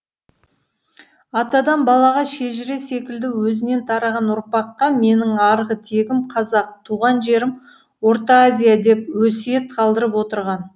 атадан балаға шежіре секілді өзінен тараған ұрпаққа менің арғы тегім қазақ туған жерім орта азия деп өсиет қалдырып отырған